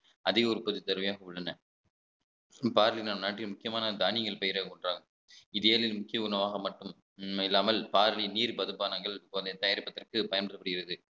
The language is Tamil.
அதிக உற்பத்தி தேவையாக உள்ளன பார்லி நம் நாட்டின் முக்கியமான தானியங்கள் பயிரில் ஒன்றாகும் இதையெனில் முக்கிய உணவாக மட்டும் இல்லாமல் பார்வை நீர் மதுபானங்கள் போன்றவை தயாரிப்பதற்கு பயன்படுத்தப்படுகிறது